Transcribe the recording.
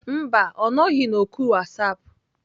Mba, ọ nọghị na oku WhatsApp.